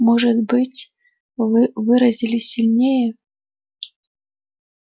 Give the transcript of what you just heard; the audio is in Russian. может быть вы выразились сильнее